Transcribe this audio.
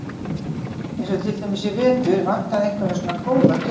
Eins og til dæmis í vetur vantaði einhverja svona góða tilfinningu.